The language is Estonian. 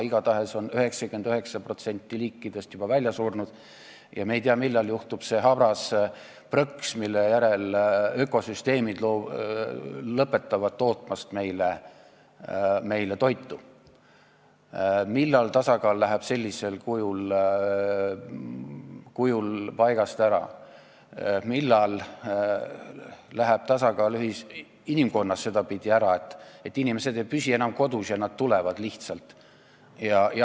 Igatahes on 99% liikidest juba välja surnud ja me ei tea, millal käib see habras prõks, mille järel ökosüsteemid lõpetavad tootmast meile toitu, millal tasakaal läheb sellisel kujul paigast ära, millal läheb tasakaal inimkonnas sedapidi ära, et inimesed ei püsi enam kodus ja nad lihtsalt hakkavad tulema.